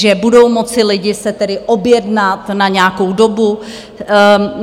Že budou moci lidé se tedy objednat na nějakou dobu.